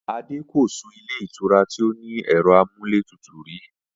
Adé ko sun ilé ìtura tí ó ní è̩ro̩ amúlétutù rí